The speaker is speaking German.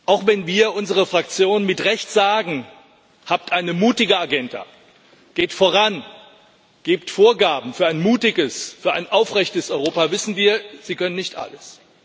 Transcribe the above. Auch wenn wir, unsere Fraktion, mit Recht sagen Habt eine mutige Agenda, geht voran, gebt Vorgaben für ein mutiges, für ein aufrechtes Europa, wissen wir Sie können nicht alles.